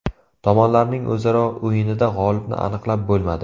Tomonlarning o‘zaro o‘yinida g‘olibni aniqlab bo‘lmadi.